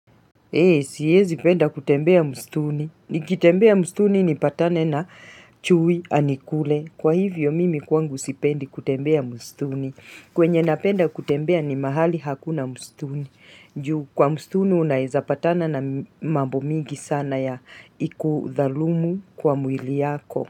Siezi penda kutembea msituni. Nikitembea msituni nipatane na chui, anikule. Kwa hivyo, mimi kwangu sipendi kutembea msituni. Kwenye napenda kutembea ni mahali hakuna mstuni. Ju, kwa mstuni unaezapatana na mambo mingi sana ya ikudhalumu kwa mwili yako.